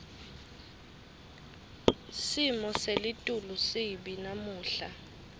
simo selitulu sibi namuhla